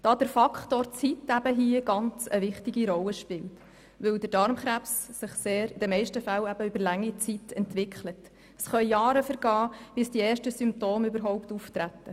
Der Faktor Zeit spielt hier eine ganz wichtige Rolle, denn Darmkrebs entwickelt sich in den meisten Fällen über lange Zeit hinweg und es können Jahre vergehen, bis die ersten Symptome überhaupt auftreten.